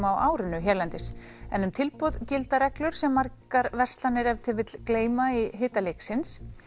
á árinu hérlendis en um tilboð gilda reglur sem margar verslanir ef til vill gleyma í hita leiksins